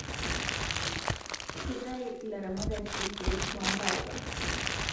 Kitayu ilaramatak irkeek too ntapuka